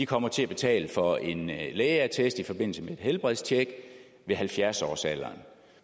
kommer til at betale for en lægeattest i forbindelse med et helbredstjek ved halvfjerds årsalderen